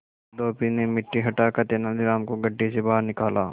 धोबी ने मिट्टी हटाकर तेनालीराम को गड्ढे से बाहर निकाला